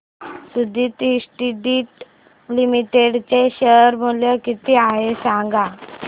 Suditi Industries Limited चे share मूल्य किती आहे सांगा